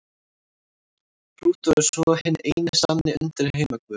Plútó er svo hinn eini sanni undirheimaguð.